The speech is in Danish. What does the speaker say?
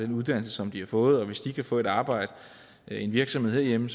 den uddannelse som de har fået og hvis de kan få et arbejde i en virksomhed herhjemme